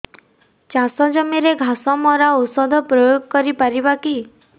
ଚାଷ ଜମିରେ ଘାସ ମରା ଔଷଧ ପ୍ରୟୋଗ କରି ପାରିବା କି